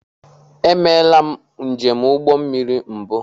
E meela m njem ụgbọ mmiri mbụ.